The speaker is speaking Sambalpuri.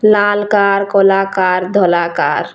ଲାଲ୍‌ car କଲା car ଧଲା କାର୍‌।